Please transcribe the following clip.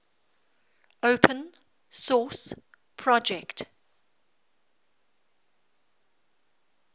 open source project